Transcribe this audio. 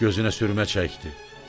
Gözünə sürmə çəkdi.